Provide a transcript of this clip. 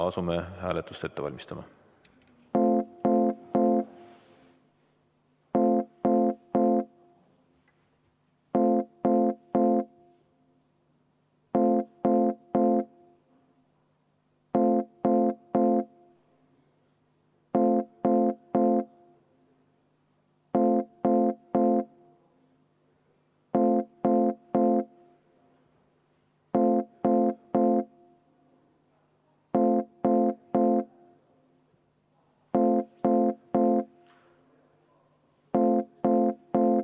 Asume hääletust ette valmistama.